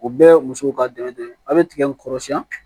O bɛɛ ye musow ka dɛmɛ de ye a' bɛ tigɛ kɔrɔsiyɛn